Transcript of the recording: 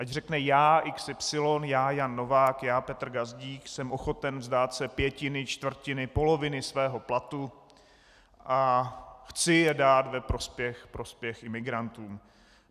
Ať řekne: Já XY, já Jan Novák, já Petr Gazdík jsem ochoten vzdát se pětiny, čtvrtiny, poloviny svého platu a chci je dát ve prospěch imigrantům.